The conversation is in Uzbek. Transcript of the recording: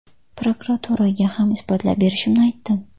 Prokuraturaga ham isbotlab berishimni aytdim.